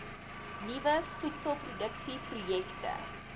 nuwe voedselproduksie projekte